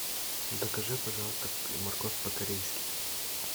закажи пожалуйста морковь по корейски